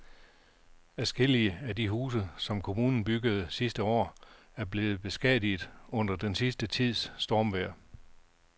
Adskillige af de huse, som kommunen byggede sidste år, er blevet beskadiget under den sidste tids stormvejr.